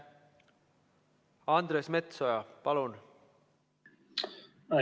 Andres Metsoja, palun!